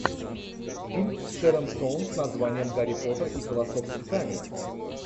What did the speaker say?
фильм с шэрон стоун с названием гарри поттер и философский камень